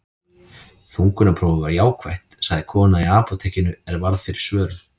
Þungunarprófið var jákvætt, sagði kona í apótekinu er varð fyrir svörum.